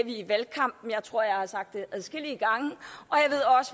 i valgkampen jeg tror jeg har sagt det adskillige gange